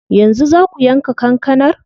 Yanzu zaa ku yanka kankanar?